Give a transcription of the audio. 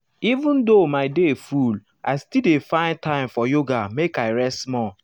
even though my day full i still dey find time for yoga make i rest small.